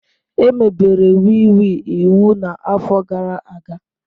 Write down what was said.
Emebere wii wii iwu na afọ gara aga